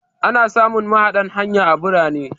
Ana samun mahaɗan hanya a birane.